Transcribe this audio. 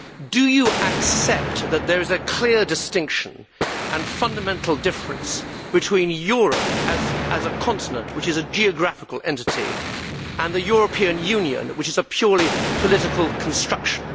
Do you accept that there is a clear distinction and fundamental difference between Europe as a continent, which is a geographical entity, and the European Union, which is a purely political construction?